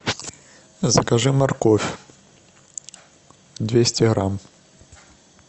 закажи морковь двести грамм